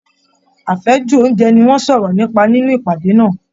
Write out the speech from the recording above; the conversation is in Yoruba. Afẹju ounjẹ ni wọn sọrọ nípa nínú ìpàdé náà.